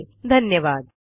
सहभागासाठी धन्यवाद